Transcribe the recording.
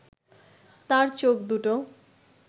তার চোখ দুটো